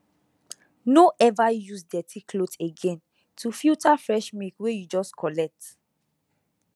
no ever use dirty cloth again to filter fresh milk wey you just collect